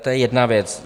To je jedna věc.